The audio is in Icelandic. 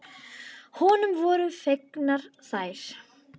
Honum voru fengnar þær.